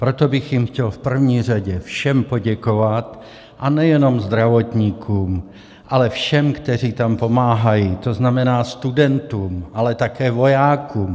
Proto bych jim chtěl v první řadě všem poděkovat, a nejenom zdravotníkům, ale všem, kteří tam pomáhají, to znamená studentům, ale také vojákům.